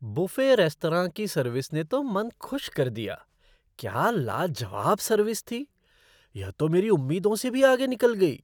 Buffet restaurant की सर्विस ने तो मन खुश कर दिया। क्या लाजवाब सर्विस थी। यह तो मेरी उम्मीदों से भी आगे निकल गई!